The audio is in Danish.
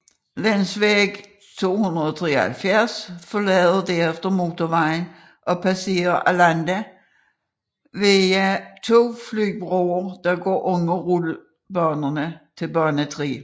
Länsväg 273 forlader derefter motorvejen og passerer Arlanda via to flybroer der går under rullebanerne til bane 3